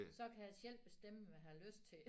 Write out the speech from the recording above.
Så kan jeg selv bestemme hvad jeg har lyst til